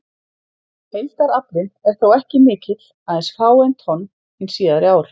Heildaraflinn er þó ekki mikill, aðeins fáein tonn hin síðari ár.